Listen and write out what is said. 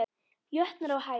jötnar á hæð.